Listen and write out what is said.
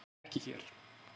Hann er ekki hér.